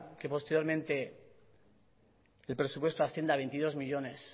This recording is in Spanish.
que posteriormente el presupuesto ascienda a veintidós millónes